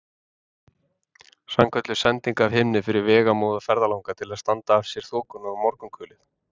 Sannkölluð sending af himni fyrir vegamóða ferðalanga til að standa af sér þokuna og morgunkulið.